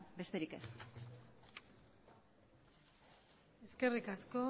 besterik ez eskerrik asko